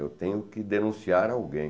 Eu tenho que denunciar alguém.